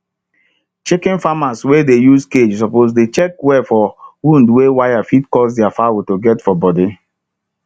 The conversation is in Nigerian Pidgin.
chicken farmers wey dey use cage suppose dey check well for wound wey wire fit cause thier fowl to get for body